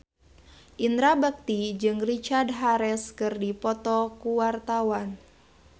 Indra Bekti jeung Richard Harris keur dipoto ku wartawan